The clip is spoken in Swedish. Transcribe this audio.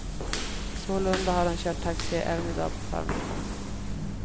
Sålunda har han kört taxi även i dag på förmiddagen.